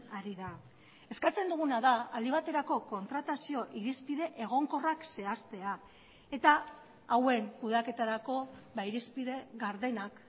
ari da eskatzen duguna da aldi baterako kontratazio irizpide egonkorrak zehaztea eta hauen kudeaketarako irizpide gardenak